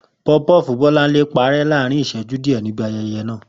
Pofupofu Bọ́láńlé parẹ́ láàárín ìṣẹ́jú díẹ̀ níbi ayẹyẹ náà.